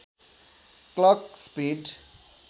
clock speed